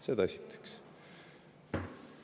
Seda esiteks.